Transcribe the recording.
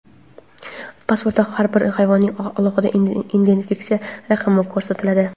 pasportda har bir hayvonning alohida identifikatsiya raqami ko‘rsatiladi.